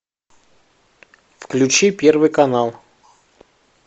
включи первый канал